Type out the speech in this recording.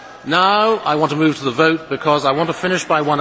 Now I want to move to the vote, because I want to finish by